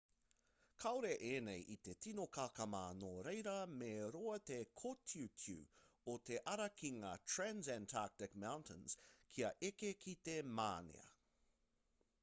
kāore ēnei i te tino kakama nō reira me roa te kōtiutiu o te ara ki ngā transantarctic mountains kia eke ki te mānia